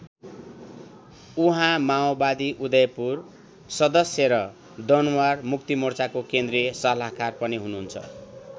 उहाँ माओवादी उदयपुर सदश्य र दनुवार मुक्तिमोर्चाको केन्द्रीय सल्लाहकार पनि हुनुहुन्छ।